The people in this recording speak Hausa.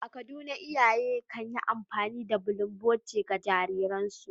A Kaduna, iyaye kan yi amfani da bulunboti, ga jariransu.